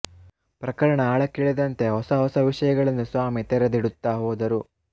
ಪ್ರಕರಣ ಆಳಕ್ಕಿಳಿದಂತೆ ಹೊಸ ಹೊಸ ವಿಷಯಗಳನ್ನು ಸ್ವಾಮಿ ತೆರೆದಿಡುತ್ತಾ ಹೋದರು